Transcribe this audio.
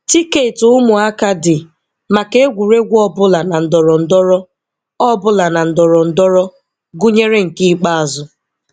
Tiketi Ụmụaka dị maka egwuregwu ọbụla na ndorondoro, ọbụla na ndorondoro, gụnyere nke ikpeazụ.